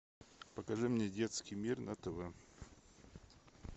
покажи мне детский мир на тв